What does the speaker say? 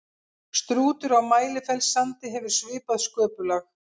strútur á mælifellssandi hefur svipað sköpulag